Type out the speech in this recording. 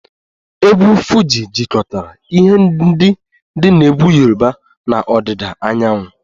Egwu Fuji jikọtara ihe ndị dị na egwu Yoruba na ọdịda anyanwụ